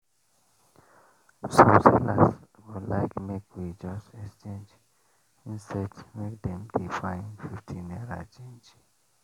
some sellers go like make we just exchange instead make dem dey find fifty naira change.